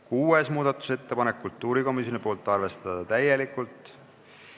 Kuues muudatusettepanek on kultuurikomisjonilt, arvestada täielikult.